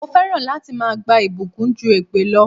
Mo fẹ́ràn láti máa gba ìbùkún ju èpè lọ.